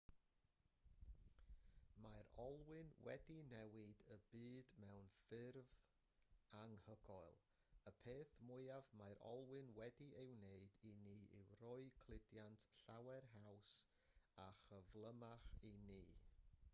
mae'r olwyn wedi newid y byd mewn ffyrdd anhygoel y peth mwyaf mae'r olwyn wedi ei wneud i ni yw rhoi cludiant llawer haws a chyflymach i ni